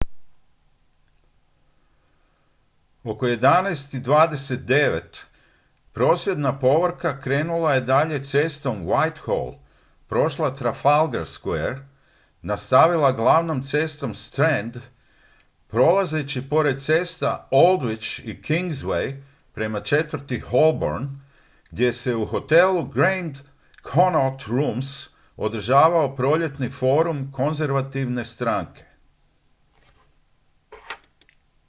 oko 11:29 h prosvjedna povorka krenula je dalje cestom whitehall prošla trafalgar square i nastavila glavnom cestom strand prolazeći pored cesta aldwych i kingsway prema četvrti holborn gdje se u hotelu grand connaught rooms održavao proljetni forum konzervativne stranke